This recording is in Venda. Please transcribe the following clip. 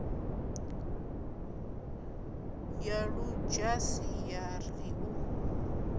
ya ludzhasi ya ri u